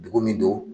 Dugu min don